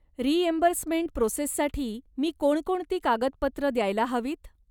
Reimbursement प्रोसेससाठी मी कोणकोणती कागदपत्रं द्यायला हवीत?